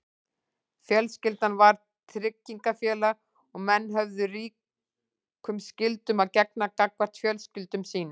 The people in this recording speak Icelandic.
Fjölskyldan var tryggingafélag og menn höfðu ríkum skyldum að gegna gagnvart fjölskyldum sínum.